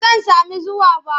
Ba zan sami zuwa ba.